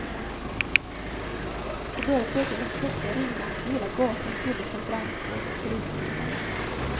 Så började plötsligt en klocka ringa och hela gatan fylldes av brandkår och polisbilar.